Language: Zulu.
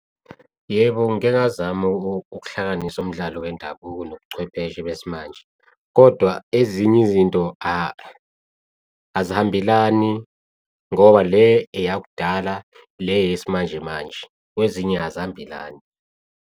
Yebo, ngike ngazama ukuhlanganisa umdlalo wendabuko nobuchwepheshe besimanje, kodwa ezinye izinto azihambelani ngoba le eyakudala le eyesimanjemanje. Kwezinye azihambelani.